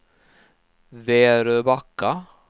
Väröbacka